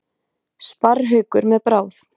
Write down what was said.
Sparrhaukur með bráð.